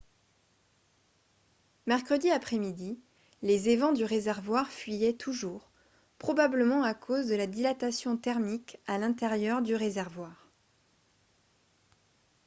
mercredi après-midi les évents du réservoir fuyaient toujours probablement à cause de la dilatation thermique à l'intérieur du réservoir